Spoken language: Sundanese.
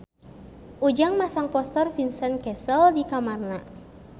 Ujang masang poster Vincent Cassel di kamarna